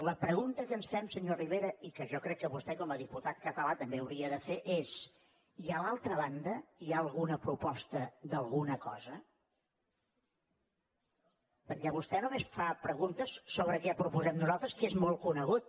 la pregunta que ens fem senyor rivera i que jo crec que vostè com a diputat català també hauria de fer és i a l’altra banda hi ha alguna proposta d’alguna cosa perquè vostè només fa preguntes sobre què proposem nosaltres que és molt conegut